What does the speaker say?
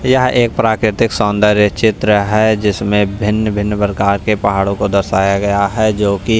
यह एक प्राकृतिक सौंदर्य चित्र है जिसमें भिन्न-भिन्न प्रकार के पहाड़ों को दर्शाया गया है जो कि--